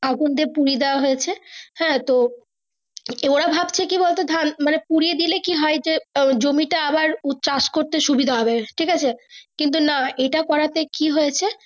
আগুন দিয়ে পুড়িয়ে দিয়েছে হ্যাঁ তো ওরা ভাবছে কি বল তো ধান পুড়িয়ে দিলে কি হয় যে জমিতে আবার চাষ করতে সুবিধা হবে ঠিক আছে কিন্তু না এটা করা তে কি হয়েছে।